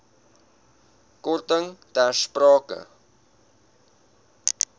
korting ter sprake